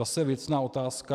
Zase věcná otázka.